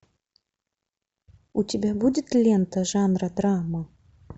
у тебя будет лента жанра драма